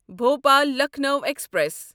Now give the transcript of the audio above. Bhopal Lucknow express